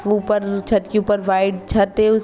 उपर छत के उपर वाइट छत है उ --